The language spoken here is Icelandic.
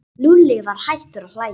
Lúlli var hættur að hlæja.